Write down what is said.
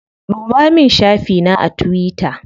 Ɗuba min shafi na a tuwita.